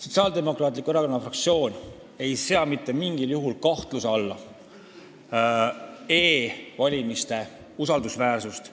Sotsiaaldemokraatliku Erakonna fraktsioon ei sea mitte mingil juhul kahtluse alla e-valimiste usaldusväärsust.